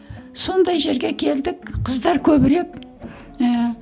сондай жерге келдік қыздар көбірек ііі